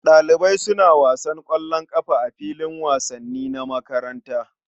Ɗalibai suna wasan ƙwallon ƙafa a filin wasanni na makaranta.